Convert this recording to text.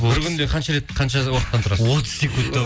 қанша рет қанша уақыттан тұрасыз отыз секунд